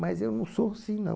Mas eu não sou assim, não.